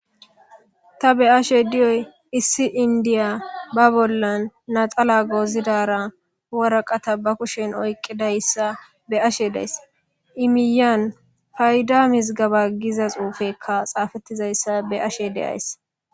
Ta be'ashe diyoy issi indiya ba laxana gozidara ba kushen waraqata oykidaysa beyashe de'aysi i miyiyan fayda mizgeba giza xuufeyka xaafetizaysa be'ashe de'aysi